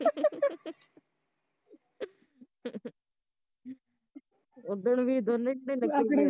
ਉਦਣ ਵਿ ਦੋਨੇ